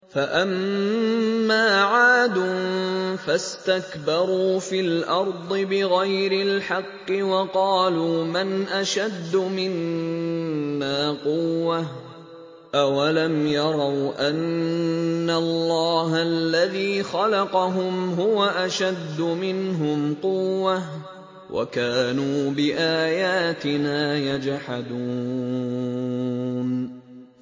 فَأَمَّا عَادٌ فَاسْتَكْبَرُوا فِي الْأَرْضِ بِغَيْرِ الْحَقِّ وَقَالُوا مَنْ أَشَدُّ مِنَّا قُوَّةً ۖ أَوَلَمْ يَرَوْا أَنَّ اللَّهَ الَّذِي خَلَقَهُمْ هُوَ أَشَدُّ مِنْهُمْ قُوَّةً ۖ وَكَانُوا بِآيَاتِنَا يَجْحَدُونَ